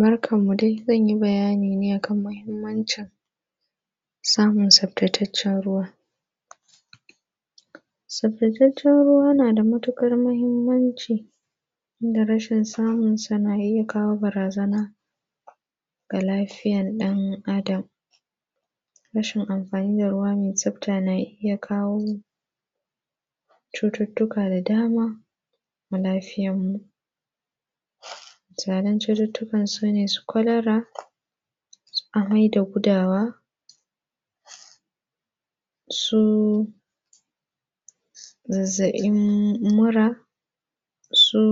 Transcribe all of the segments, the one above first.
Barkanmu dai. Zan yi bayani ne kan muhimmancin samun tsaftataccen ruwa. Saftataccen ruwa na da matuƙar muhimmanci da rashin samunsa, na iya kawo barazana ga lafiyan ɗan adam. Rashin amfani da ruwa mai tsafta na iya kawo, cututtuka da dama wa lafiyanmu. Zanen cututtukan su kwalara su amai da gudawa, su zazzaɓin mura, su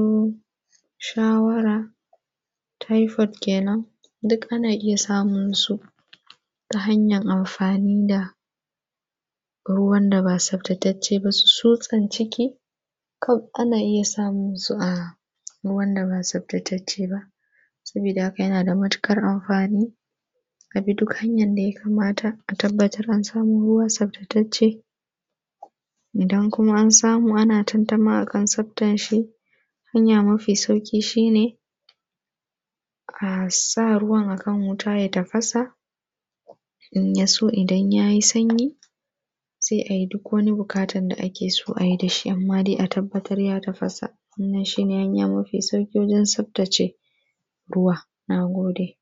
shawara, taifot kenan, duk ana iya samun su ta hanyan amfani da ruwan da ba tsaftatacce ba, su tsutsan ciki, kaf ana iya samun su a ruwan da ba tsaftatacce ba. Sabida haka, yana da matuƙar amfani, abi duk hanyan da ya kamata, a tabbatar an samo ruwa tsaftatacce. Idan kuma an samu ana tantama a kan tsaftanshi, hanya mafi sauƙi shi ne, a sa ruwan kan wuta ya tafasa, in ya so idan ya yi sanyi, sai a yi duk wani buƙatan da ake so ayi da shi, amma dai a tabbatar ya tafasa. Wannan shi ne hanya mafi sauƙi wajen tsaftace ruwa. Na gode.